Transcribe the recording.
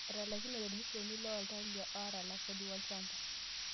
Etalaikinote irmisheni looltalia aatalak kodi olchamba